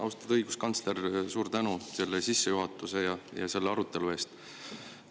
Austatud õiguskantsler, suur tänu selle ja selle arutelu eest!